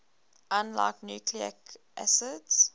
unlike nucleic acids